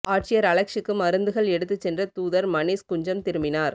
ஆட்சியர் அலெக்ஸூக்கு மருந்துகள் எடுத்துச் சென்ற தூதர் மணீஷ் குஞ்சம் திரும்பினார்